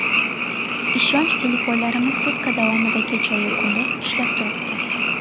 Ishonch telefonlarimiz sutka davomida kechayu-kunduz ishlab turibdi.